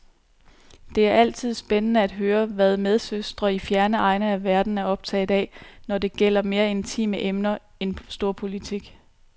Det er altid spændende at høre, hvad medsøstre i fjerne egne af verden er optaget af, når det gælder mere intime emner end storpolitik.